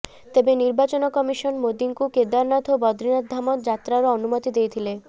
ତେବେ ନିର୍ବାଚନ କମିଶନ ମୋଦିଙ୍କୁ କେଦାରନାଥ ଓ ବଦ୍ରିନାଥ ଧାମ ଯାତ୍ରାର ଅନୁମତି ଦେଇଥିଲେ